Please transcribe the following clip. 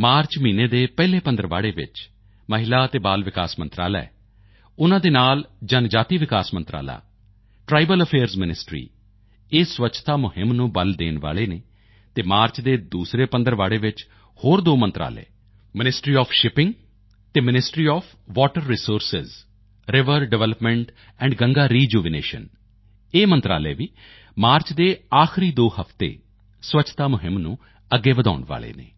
March ਮਹੀਨੇ ਦੇ ਪਹਿਲੇ ਪੰਦਰਵਾੜੇ ਵਿੱਚ ਮਹਿਲਾ ਅਤੇ ਬਾਲ ਵਿਕਾਸ ਮੰਤਰਾਲਾ ਉਨ੍ਹਾਂ ਦੇ ਨਾਲ ਜਨਜਾਤੀ ਵਿਕਾਸ ਮੰਤਰਾਲਾ ਟ੍ਰਾਈਬਲ ਅਫੇਅਰਜ਼ ਮਿਨਿਸਟਰੀ ਇਹ ਸਵੱਛਤਾ ਮੁਹਿੰਮ ਨੂੰ ਬੱਲ ਦੇਣ ਵਾਲੇ ਹਨ ਅਤੇ ਮਾਰਚ ਦੇ ਦੂਸਰੇ ਪੰਦਰਵਾੜੇ ਵਿੱਚ ਹੋਰ ਦੋ ਮੰਤਰਾਲੇ ਮਿਨਿਸਟਰੀ ਓਐਫ ਸ਼ਿੱਪਿੰਗ ਅਤੇ ministry of water resources river development and Ganga rejuvenation ਇਹ ਮੰਤਰਾਲੇ ਵੀ ਮਾਰਚ ਦੇ ਆਖਰੀ ਦੋ ਹਫ਼ਤੇ ਸਵੱਛਤਾ ਮੁਹਿੰਮ ਨੂੰ ਅੱਗੇ ਵਧਾਉਣ ਵਾਲੇ ਹਨ